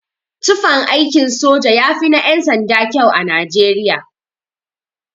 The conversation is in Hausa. Tufan aikin sojoji yafi na yan-sanda kyau a nijeriya.